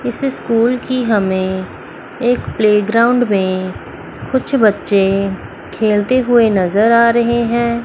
इस स्कूल की हमें एक प्लेग्राउंड में कुछ बच्चे खेलते हुए नजर आ रहे हैं।